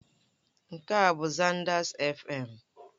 Nke a bụ Zanders Fm.